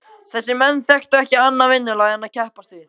Þessir menn þekktu ekki annað vinnulag en að keppast við.